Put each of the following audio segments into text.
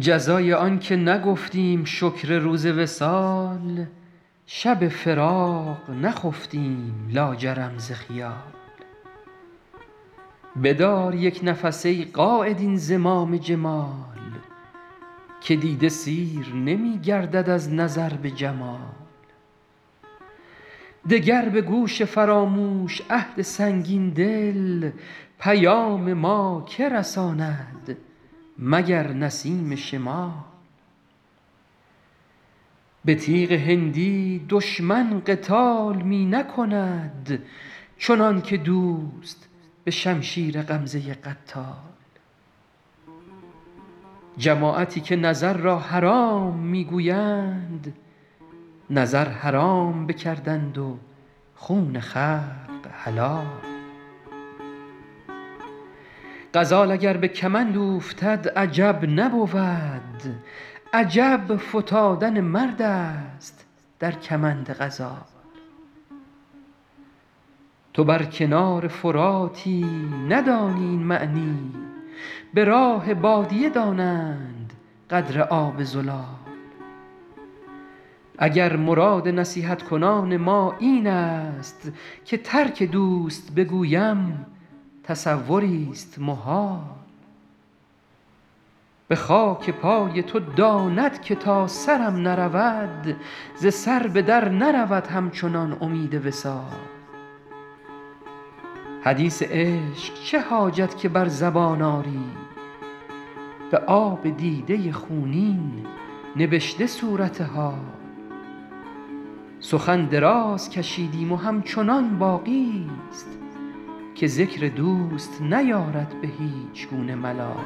جزای آن که نگفتیم شکر روز وصال شب فراق نخفتیم لاجرم ز خیال بدار یک نفس ای قاید این زمام جمال که دیده سیر نمی گردد از نظر به جمال دگر به گوش فراموش عهد سنگین دل پیام ما که رساند مگر نسیم شمال به تیغ هندی دشمن قتال می نکند چنان که دوست به شمشیر غمزه قتال جماعتی که نظر را حرام می گویند نظر حرام بکردند و خون خلق حلال غزال اگر به کمند اوفتد عجب نبود عجب فتادن مرد است در کمند غزال تو بر کنار فراتی ندانی این معنی به راه بادیه دانند قدر آب زلال اگر مراد نصیحت کنان ما این است که ترک دوست بگویم تصوریست محال به خاک پای تو داند که تا سرم نرود ز سر به در نرود همچنان امید وصال حدیث عشق چه حاجت که بر زبان آری به آب دیده خونین نبشته صورت حال سخن دراز کشیدیم و همچنان باقیست که ذکر دوست نیارد به هیچ گونه ملال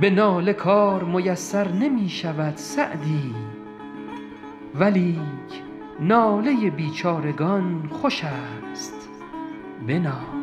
به ناله کار میسر نمی شود سعدی ولیک ناله بیچارگان خوش است بنال